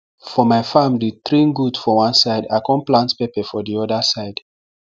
for my farm dey train goat for one side i con plant pepper for the oda side